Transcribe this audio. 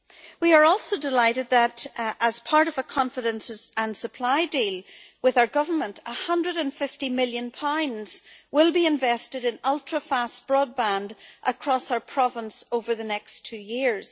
We are also delighted that, as part of a confidence and supply deal with our Government, GBP 150 million will be invested in ultra fast broadband across our province over the next two years.